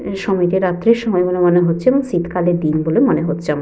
এই সময়টা রাত্রির সময় বলে মনে হচ্ছে । এবং শীতকালের দিন বলে মনে হচ্ছে আমার।